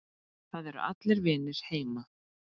Það eru allir vinir heima.